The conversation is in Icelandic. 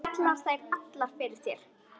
Falla þær allar fyrir þér?